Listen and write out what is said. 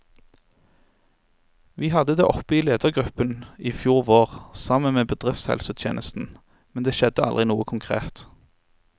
Vi hadde det oppe i ledergruppen i fjor vår, sammen med bedriftshelsetjenesten, men det skjedde aldri noe konkret.